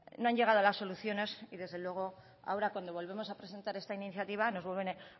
no han llegado a las soluciones y desde luego ahora cuando volvemos a presentar esta iniciativa nos vuelven a